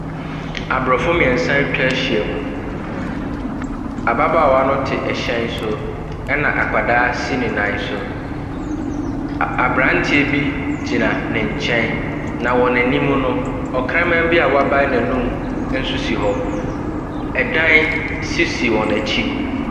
Aborɔfo mmeɛnsa atwa ahyia mu. Ababaawa no te ɛhyɛn so, ɛna akwadaa si ne nan so. Aberanteɛ bi gyina ne nkyɛn, na wɔn anim no, ɔkraman bi a wabae n'anum nso si hɔ. Ɛdan nso si wɔn akyi.